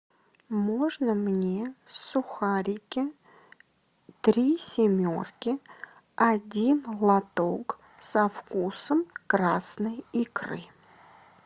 можно мне сухарики три семерки один лоток со вкусом красной икры